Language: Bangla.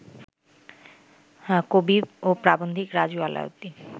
কবি ও প্রাবন্ধিক রাজু আলাউদ্দিন